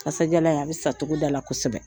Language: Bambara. Kasadiyalan in, a bɛ san togoda la kosɛbɛ.